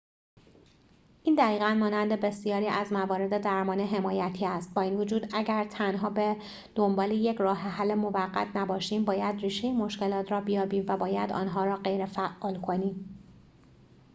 این دقیقاً مانند بسیاری از موارد درمان حمایتی است با این وجود اگر تنها به دنبال یک راه‌حل موقت نباشیم باید ریشه مشکلات را بیابیم و باید آن‌ها را غیرفعال کنیم